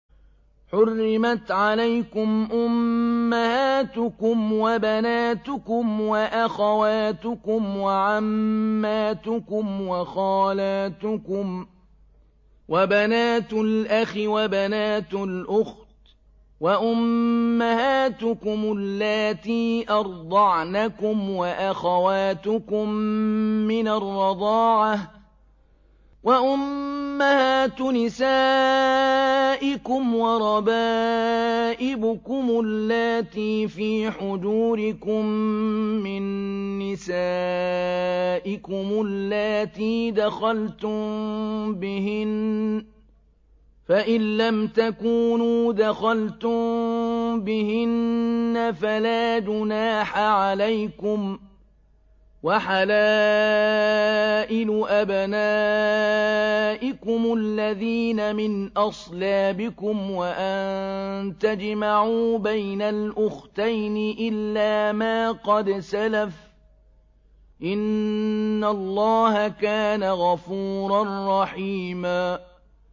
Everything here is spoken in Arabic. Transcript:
حُرِّمَتْ عَلَيْكُمْ أُمَّهَاتُكُمْ وَبَنَاتُكُمْ وَأَخَوَاتُكُمْ وَعَمَّاتُكُمْ وَخَالَاتُكُمْ وَبَنَاتُ الْأَخِ وَبَنَاتُ الْأُخْتِ وَأُمَّهَاتُكُمُ اللَّاتِي أَرْضَعْنَكُمْ وَأَخَوَاتُكُم مِّنَ الرَّضَاعَةِ وَأُمَّهَاتُ نِسَائِكُمْ وَرَبَائِبُكُمُ اللَّاتِي فِي حُجُورِكُم مِّن نِّسَائِكُمُ اللَّاتِي دَخَلْتُم بِهِنَّ فَإِن لَّمْ تَكُونُوا دَخَلْتُم بِهِنَّ فَلَا جُنَاحَ عَلَيْكُمْ وَحَلَائِلُ أَبْنَائِكُمُ الَّذِينَ مِنْ أَصْلَابِكُمْ وَأَن تَجْمَعُوا بَيْنَ الْأُخْتَيْنِ إِلَّا مَا قَدْ سَلَفَ ۗ إِنَّ اللَّهَ كَانَ غَفُورًا رَّحِيمًا